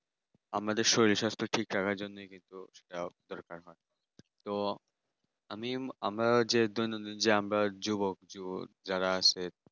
আমাদের শরীর স্বাস্থ্য ঠিক রাখার জন্যই কিন্তু সেটাও দরকার। তো আমি আমার যে দৈনন্দিন যে আমরা যুবক যে যারা আছে